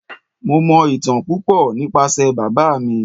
Mo mọ ìtàn púpò nípasẹ̀ bàbá mi.